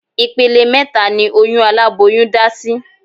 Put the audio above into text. Ìpele mẹ́ta ni oyún aláboyún dá sí